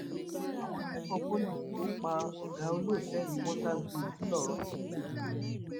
àwọn akẹkọọ pọlì tó pa ọgá olótẹẹlì water view ńlọrọìn ti dèrò ẹwọn